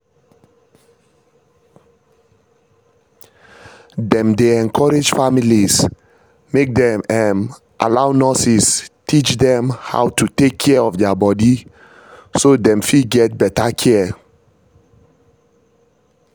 dem dey encourage families make dem um allow nurses teach dem how to take care of their body so dem fit get better care